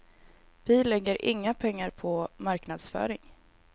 Vi lägger inga pengar på marknadsföring.